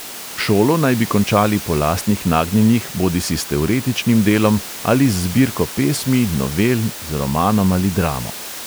Šolo naj bi končali po lastnih nagnjenjih bodisi s teoretičnim delom ali z zbirko pesmi, novel, z romanom ali dramo.